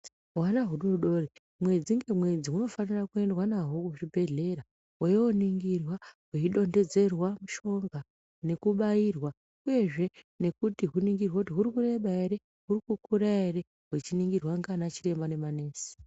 Hwana hudodori mwedzi ngemwedzi hunofanira kuendwa nahwo kuchibhedhlera hweindoningirwa hweidontedzerwa mishonga nekubairwa uyezve nekuti huningirwe kuti zviri kureba ere ,huri kukura ere huchiningirwa ndiana chiremba nemanesi.